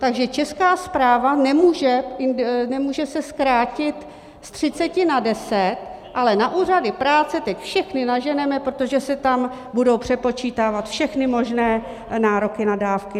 Takže Česká správa nemůže se zkrátit z 30 na 10, ale na úřady práce teď všechny naženeme, protože se tam budou přepočítávat všechny možné nároky na dávky.